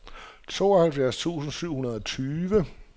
tooghalvfjerds tusind syv hundrede og tyve